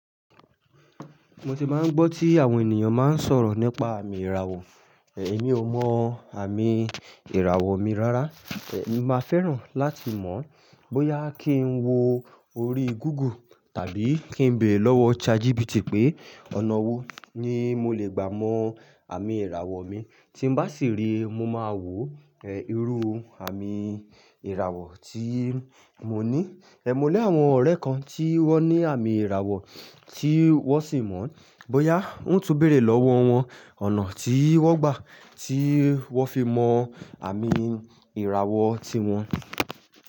Mo ti máa ń gbọ́ tí àwọn ènìyàn máa ń sọ̀rọ̀ nípa àmì ìràwọ̀. Èmi ò mọ àmì ìràwọ̀ mi rárá. Èmi máa fẹ́ràn láti mọ̀ bóyá kí n wo orí Google tàbí kí n beere lọ́wọ́ ChatGPT pé ọ̀nà wo ni mo lè gbà mọ àmì ìràwọ̀ mi. Tí n bá sì rí i, mo máa wò irú àmì ìràwọ̀ tí mo ní. Ẹ̀ mo ní àwọn ọ̀rẹ́ kan tí wọ́n ní àmì ìràwọ̀ tí wọ́n sì mọ̀ bóyá ń tún bẹ̀rẹ̀ lọ́wọ́ wọn ọ̀nà tí wọ́n gbà tí wọ́n fi mọ àmì ìràwọ̀ tíwọn.